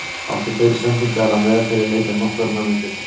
Átti fleiri sendingar að meðaltali í leik en nokkur annar í deildinni.